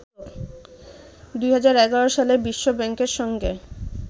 ২০১১সালে বিশ্ব ব্যাংকের সঙ্গে